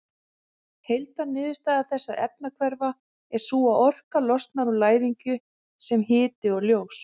Heildarniðurstaða þessara efnahvarfa er sú að orka losnar úr læðingi sem hiti og ljós.